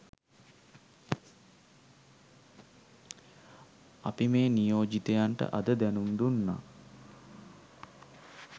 අපි මේ නියෝජිතයන්ට අද දැනුම් දුන්නා